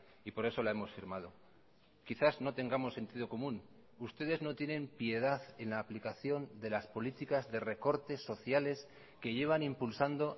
y por eso la hemos firmado quizás no tengamos sentido común ustedes no tienen piedad en la aplicación de las políticas de recortes sociales que llevan impulsando